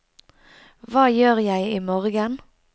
hva gjør jeg imorgen